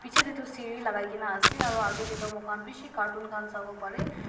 bichae tae toh seri lakai kaena ase aro akae tae toh moi khan bishi carton khan sawo parae.